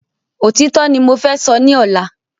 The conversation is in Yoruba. Òtítọ́ ní mo fẹ́ sọ ni ọ̀la